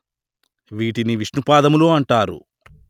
వీటిని విష్ణుపాదములు అంటారు